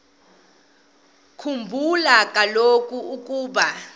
khumbula kaloku ukuba